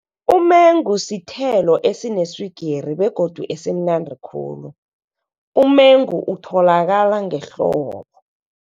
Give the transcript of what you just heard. Umengu sithelo esineswigiri, begodu esimnandi khulu. Umengu utholakala ngehlobo.